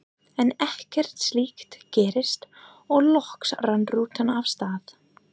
En ekkert slíkt gerðist og loks rann rútan af stað.